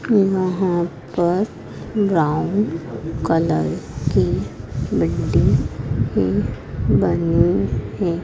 यहां पर brown colour की बिल्डिंग ही बनी है।